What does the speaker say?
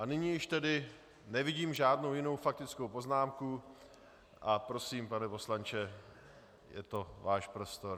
A nyní již tedy nevidím žádnou jinou faktickou poznámku a prosím, pane poslanče, je to váš prostor.